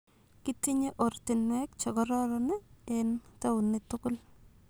Kitinye ortinweek chekororon en tawuniit tugul